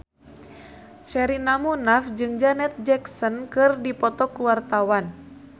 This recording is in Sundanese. Sherina Munaf jeung Janet Jackson keur dipoto ku wartawan